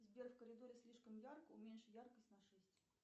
сбер в коридоре слишком ярко уменьши яркость на шесть